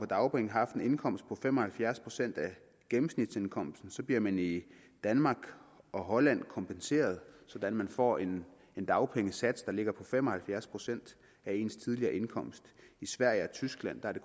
dagpenge har haft en indkomst på fem og halvfjerds procent af gennemsnitsindkomsten bliver man i danmark og holland kompenseret så man får en dagpengesats der ligger på fem og halvfjerds procent af ens tidligere indkomst i sverige og tyskland er det